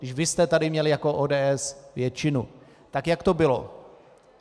Když vy jste tu měli jako ODS většinu, tak jak to bylo?